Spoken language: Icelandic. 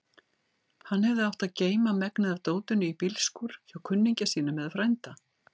Hann hefði átt að geyma megnið af dótinu í bílskúr hjá kunningja sínum eða frænda.